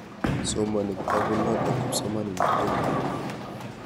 Somani kitaput notok kipsomaninik tukul.